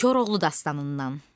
Koroğlu dastanından.